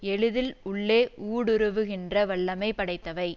எளிதில் உள்ளே ஊடுருவுகின்ற வல்லமை படைத்தவை